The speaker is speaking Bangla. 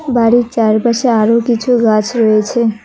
বাড়ির চারপাশে আরো কিছু গাছ রয়েছে।